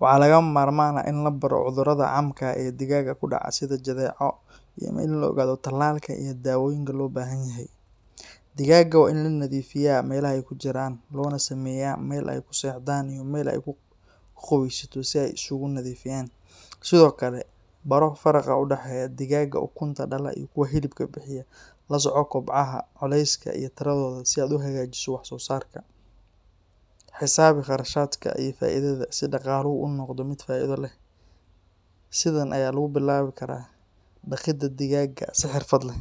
Waxaa lagama maarmaan ah in la baro cudurrada caamka ah ee digaagga ku dhaca sida jadeeco iyo in la ogaado tallaalka iyo daawooyinka loo baahan yahay. Digaagga waa in la nadiifiyaa meelaha ay ku jiraan, loona sameeyaa meel ay ku seexdaan iyo meel ay ku qubaysato si ay isugu nadiifiyaan. Sidoo kale, baro faraqa u dhexeeya digaagga ukunta dhala iyo kuwa hilibka bixiya. La soco kobcaha, culeyska, iyo tiradooda si aad u hagaajiso wax-soosaarka. Xisaabi kharashaadka iyo faa’iidada si dhaqaaluhu u noqdo mid faa’iido leh. Sidan ayaa lagu bilaabi karaa dhaqidda digaag si xirfad leh.